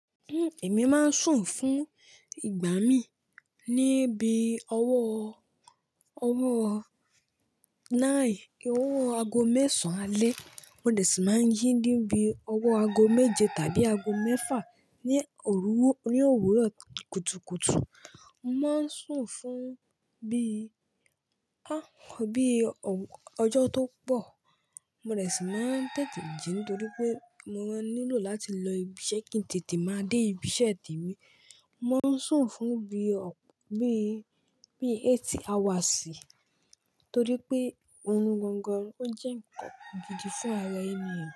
Hmm, èmi máa ń sùn fún ìgbà mii ní bií ọwọ́, ọwọ́ nine, owó ago mẹ́sàn alẹ́. Mo de si máa ń jí ní bíi ọwọ́ ago méje tàbí ago mẹ́fà ní òruwó, ní òwúrọ̀ kùtùkùtù. Mo máa ń sùn fún bií, ah, bií ọ̀, ọjọ́ tó pọ̀. Mo dẹ̀ si máa ń tètè jí nítorí pé mo maa nílò láti lọ ibi iṣẹ́ kí n tètè máa dé ibiṣẹ́ temi. Mo máa ń sùn fún bí ọ, bií, bií eight hours torí pé orún gangan ó jẹ́ ńkan gidi fún ara ènìyàn.